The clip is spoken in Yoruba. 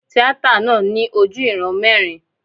Tíátà náà ní ojú ìran mẹ́rin.